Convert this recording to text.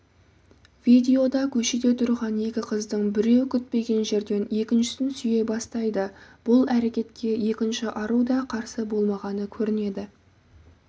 видеода көшеде тұрған екі қыздың біреу күтпеген жерден екіншісін сүйе бастайды бұл әрекетке екінші ару да қарсы болмағаны көрінеді